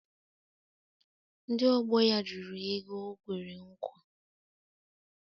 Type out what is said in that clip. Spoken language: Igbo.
Ndị ọgbọ ya jụrụ ya ego o kwere nkwa.